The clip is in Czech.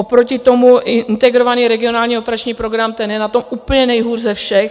Oproti tomu Integrovaný regionální operační program, ten je na tom úplně nejhůř ze všech.